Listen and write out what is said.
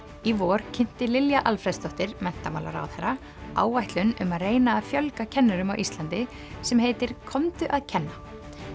í vor kynnti Lilja Alfreðsdóttir menntamálaráðherra áætlun um að reyna að fjölga kennurum á Íslandi sem heitir komdu að kenna